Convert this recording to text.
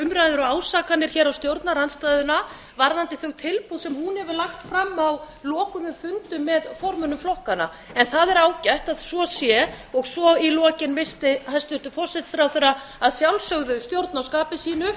og ásakanir hér á stjórnarandstöðuna varðandi þau tilboð sem hún hefur lagt fram á lokuðum fundum með formönnum flokkanna en það er ágætt að svo sé og svo í lokin missti hæstvirtur forsætisráðherra að sjálfsögðu stjórn á skapi sínu